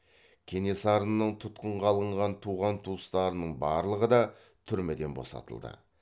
кенесарының тұтқынға алынған туған туыстарының барлығы да түрмеден босатылды